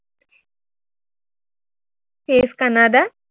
face Canada